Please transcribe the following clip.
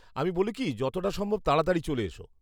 আমি বলি কি, যতটা সম্ভব তাড়াতাড়ি চলে এসো।